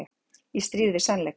Í stríð við sannleikann